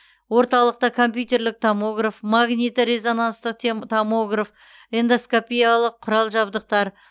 орталықта компьютерлік томограф магниті резонанстық тем томограф эндоскопиялық құрал жабдықтар